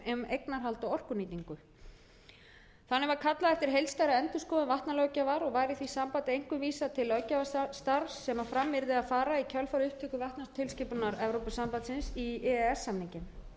eignarhald og orkunýtingu þannig var kallað eftir heildstæðri endurskoðun vatnalöggjafar og var í því sambandi einkum vísað til löggjafarstarfs sem fram yrði að fara í kjölfar upptöku vatnatilskipunar evrópusambandsins í e e s samninginn við aðra umræðu um frumvarp til